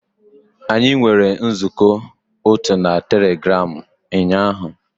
Anyị nwere nzukọ otu na Telegram ụnyaahụ